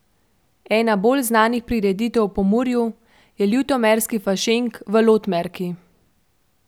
Ena bolj znanih prireditev v Pomurju je ljutomerski Fašenk v Lotmerki.